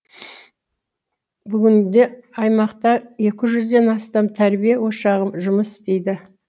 бүгінде аймақта екі жүзден астам тәрбие ошағы жұмыс істейді